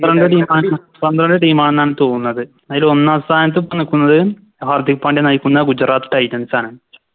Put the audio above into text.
Team ആണെന്നാണ് തോന്നുന്നത് അയില് ഒന്നാം സ്ഥാനത്ത് ഇപ്പൊ നിക്കുന്നത് ഹർദിക് പാണ്ട്യ നയിക്കുന്ന Gujarat titans ആണ്